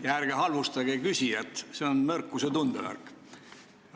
Ja ärge halvustage küsijat, see on nõrkuse tundemärk.